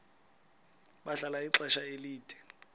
bahlala ixesha elide